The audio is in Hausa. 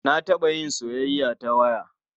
Na taɓa yin soyayya ta waya.